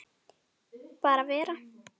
Bara vera.